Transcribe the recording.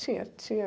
Tinha, tinha